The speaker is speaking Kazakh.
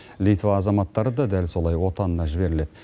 литва азаматтары да дәл солай отанына жіберіледі